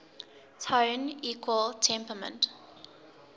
tone equal temperament